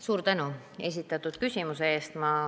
Suur tänu esitatud küsimuse eest!